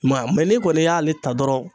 I ma ye a mɛ n'i kɔni y'ale ta dɔrɔn